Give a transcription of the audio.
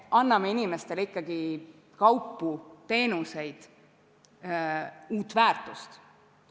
Me anname inimestele ikkagi kaupu, teenuseid, uut väärtust.